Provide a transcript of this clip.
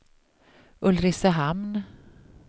Ulricehamn